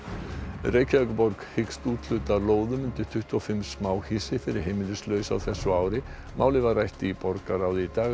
Reykjavíkurborg hyggst úthluta lóðum undir tuttugu og fimm smáhýsi fyrir heimilislausa á þessu ári málið var rætt í borgarráði í dag að